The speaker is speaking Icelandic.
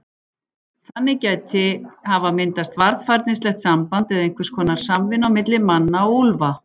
Þannig gæti hafa myndast varfærnislegt samband eða einhvers konar samvinna á milli manna og úlfa.